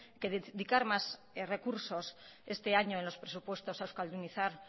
que dedicar más recursos este año en los presupuestos a euskaldunizar